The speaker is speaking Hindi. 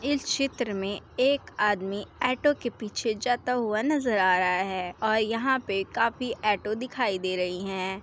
इस चित्र मे एक आदमी ऑटो के पीछे जाता हुआ नज़र आ रहा है और यहाँ पे काफी ऑटो दिखाई दे रहे हैं।